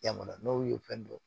Jamana n'o ye fɛn dɔ